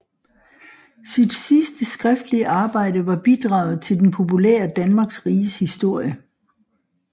Sit sidste skriftlige arbejde var bidraget til den populære Danmarks Riges Historie